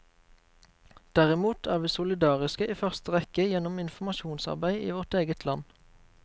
Derimot er vi solidariske i første rekke gjennom informasjonsarbeid i vårt eget land.